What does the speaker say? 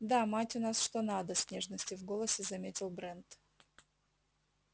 да мать у нас что надо с нежностью в голосе заметил брент